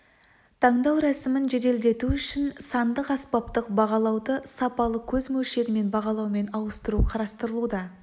таңдау рәсімін жеделдету үшін сандық аспаптық бағалауды сапалы көз мөлшерімен бағалаумен ауыстыру қарастырылуда